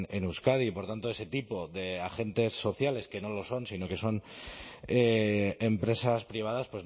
en euskadi y por tanto ese tipo de agentes sociales que no lo son sino que son empresas privadas